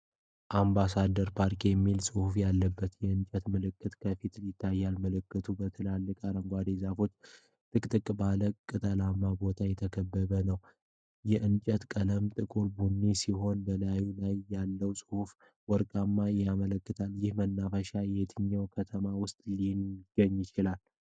AMBASSADOR PARK" የሚል ጽሑፍ ያለበት የእንጨት ምልክት ከፊት ይታያል። ምልክቱ በትልልቅ አረንጓዴ ዛፎችና ጥቅጥቅ ባለ ቅጠላማ ቦታ የተከበበ ነው። የእንጨቱ ቀለም ጥቁር ቡኒ ሲሆን፣ በላዩ ላይ ያለው ጽሑፍ ወርቃማ ይመስላል። ይህ መናፈሻ የትኛው ከተማ ውስጥ ሊገኝ ይችላል?